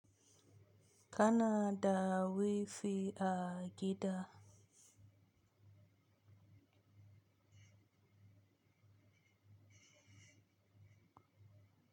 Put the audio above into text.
Kana da wi fi a gida.